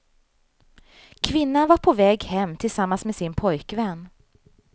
Kvinnan var på väg hem tillsammans med sin pojkvän.